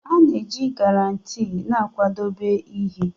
A na-eji Granite na-akwadebe ihe